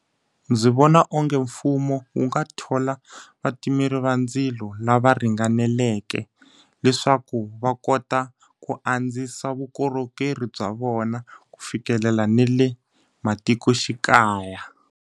Ndzi vona onge mfumo wu nga thola vatimeri va ndzilo lava ringaneleke. Leswaku va kota ku andzisa vukorhokeri bya vona, ku fikelela na le matikoxikaya.